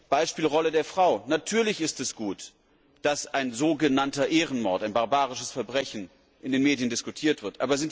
Beispiel Rolle der Frau Natürlich ist es gut, dass ein so genannter Ehrenmord ein barbarisches Verbrechen in den Medien diskutiert wird.